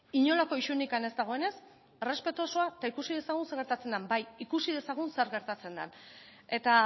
inolako isunik ez dagoenez errespetu osoa eta ikusi dezagun zer gertatzen da bai ikusi dezagun zer gertatzen dan eta